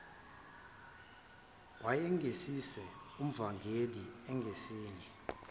wayengesiye umvangeli engesiye